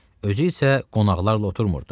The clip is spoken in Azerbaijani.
Özü isə qonaqlarla oturmurdu.